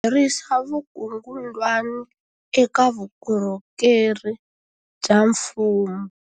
Ku herisa vukungundwani eka vukorhokeri bya mfumo